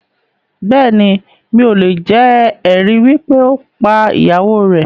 Bẹ́ẹ̀ni, mi ò lè jẹ̀ ẹ̀rí wípé ó pá ìyàwó rẹ̀